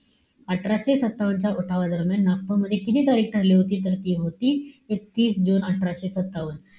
अठराशे सत्तावन्न च्या उठावादरम्यान नागपूरमध्ये किती तारीख ठरली होती तर ती होती एकतीस जुने अठराशे सत्तावन्न.